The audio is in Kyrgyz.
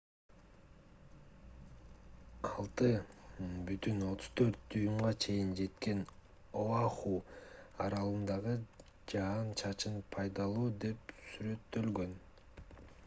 6,34 дюймга чейин жеткен оаху аралындагы жаан-чачын пайдалуу деп сүрөттөлгөн